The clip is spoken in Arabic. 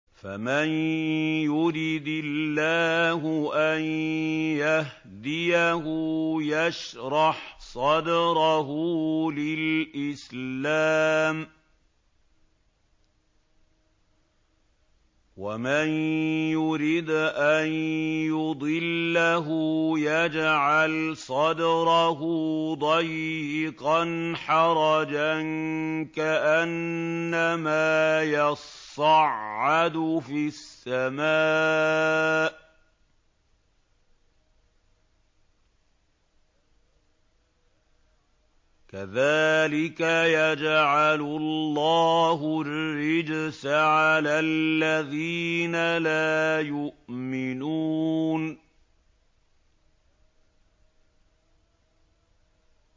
فَمَن يُرِدِ اللَّهُ أَن يَهْدِيَهُ يَشْرَحْ صَدْرَهُ لِلْإِسْلَامِ ۖ وَمَن يُرِدْ أَن يُضِلَّهُ يَجْعَلْ صَدْرَهُ ضَيِّقًا حَرَجًا كَأَنَّمَا يَصَّعَّدُ فِي السَّمَاءِ ۚ كَذَٰلِكَ يَجْعَلُ اللَّهُ الرِّجْسَ عَلَى الَّذِينَ لَا يُؤْمِنُونَ